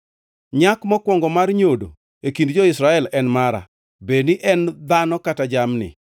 “Nyak mokwongo mar nyodo e kind jo-Israel en mara, bed ni en dhano kata jamni.